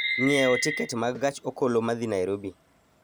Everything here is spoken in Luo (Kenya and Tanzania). ng'iewo tiket ma gach okoloma dhi Nairobi